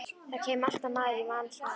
Það kæmi alltaf maður í manns stað.